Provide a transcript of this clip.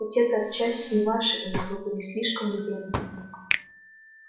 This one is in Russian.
ведь это отчасти и ваша вина вы были слишком любезны с ним